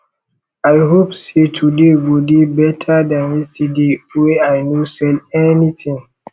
i hope sey today go dey beta dan yesterday wey i no sell anytin